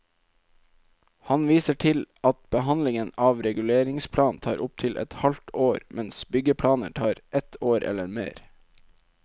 Han viser til at behandling av reguleringsplan tar opptil et halvt år, mens byggeplaner tar ett år eller mer.